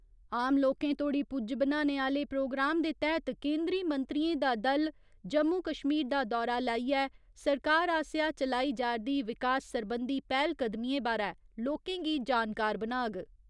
आम लोकें तोड़ी पुज्ज बनाने आह्‌ले प्रोग्राम दे तैह्त केंदरी मंत्रियें दा दल जम्मू कश्मीर दा दौरा लाइयै सरकार आसेआ चलाई जा'रदी विकास सरबंधी पैह्‌लकदमिएं बारै लोकें गी जानकार बनाग।